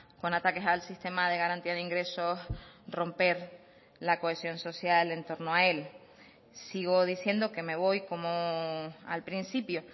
con ataques al sistema de garantía de ingresos romper la cohesión social en torno a él sigo diciendo que me voy como al principio